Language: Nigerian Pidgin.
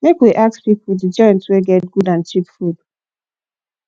make we ask pipo di joint wey get good and cheap food